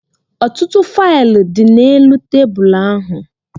Ọtụtụ faịlụ dị n'elu tebụl ahụ